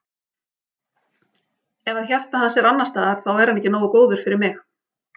Ef að hjarta hans er annars staðar þá er hann ekki nógu góður fyrir mig.